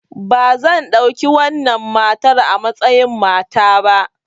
Ba zan ɗauki wannan matar a matsayin mata ba!